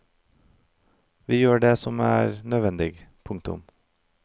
Vi gjør det som er nødvendig. punktum